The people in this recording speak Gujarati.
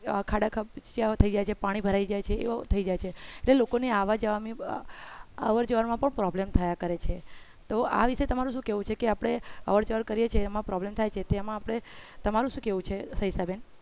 ખાડા ખ્બચીયા થઈ જાય છે પાણી ભરાઈ જાય છે એવો થઈ જાય છે એટલે લોકોને આવર જવર માં પણ problem થયા કરે છે તો આ વિષે તમારું શું કહેવું છે કે આપણે અવર જવર કરીએ છીએ એમાં problem થાય છે તેમાં આપણે તમારું શું કહેવું છે સવિતાબેન